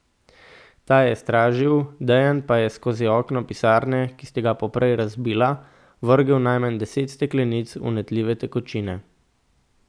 Ta je stražil, Dejan pa je skozi okno pisarne, ki sta ga poprej razbila, vrgel najmanj deset steklenic vnetljive tekočine.